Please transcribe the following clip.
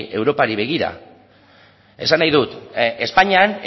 europari begira esan nahi dut espainian